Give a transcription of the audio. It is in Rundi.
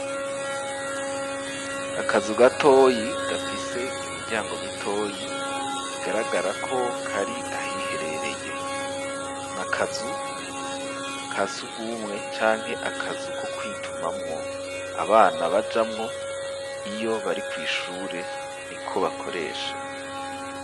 Akazu gatoyi gafise imiryango mitoyi bigaragara ko kari ahiherereye n'akazu kasugumwe canke akazu ko kwitumamwo abana bajamwo iyo bari kwishure niko bakoresha.